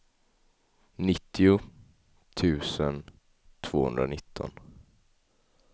nittio tusen tvåhundranitton